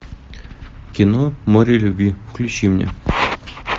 кино море любви включи мне